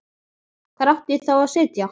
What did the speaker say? Hvar átti ég þá að sitja?